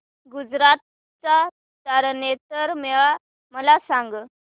गुजरात चा तारनेतर मेळा मला सांग